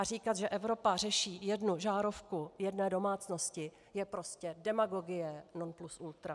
A říkat, že Evropa řeší jednu žárovku jedné domácnosti je prostě demagogie non plus ultra.